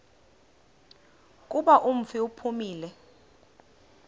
kuba umfi uphumile